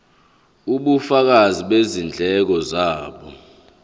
ubufakazi bezindleko zabo